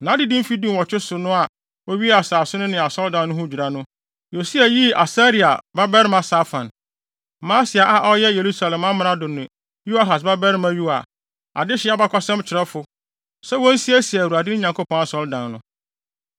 Nʼadedi mfe dunwɔtwe so no a owiee asase no ne asɔredan no ho dwira no, Yosia yii Asalia babarima Safan, Maaseia a ɔyɛ Yerusalem amrado ne Yoahas babarima Yoa, adehye abakɔsɛm kyerɛwfo, sɛ wonsiesie Awurade, ne Nyankopɔn asɔredan no.